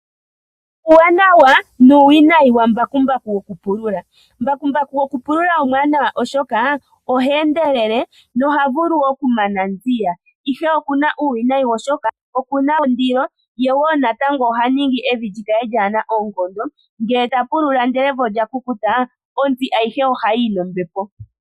Uuwanawa nuuwinayi wa mbakumbaku goku pulula. Mbakumbaku goku pulula omuwanawa oshoka oha vulu oku mana nziya ihe okuna uuwinayi oshoka okuna ondilo. Ye woo natango oha ningi evi lyikale lyaana oonkondo. Ngele ta pulula ndele evi olya kukuta ontsi ayihe oha yi yi nombepo.